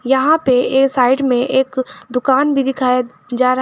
यहां पे ये साइड में एक दुकान भी दिखाया जा रहा--